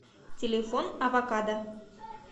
телефон авокадо